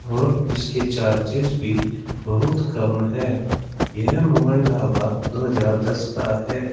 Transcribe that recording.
और इसके चर्चेज भी बहुत कम है यह मोहन ढाबा दो हजार दस का है।